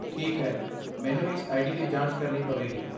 ਠੀਕ ਹੈ, ਮੈਨੂੰ ਇਸ ਆਈਡੀ ਦੀ ਜਾਂਚ ਕਰਨੀ ਪਵੇਗੀ।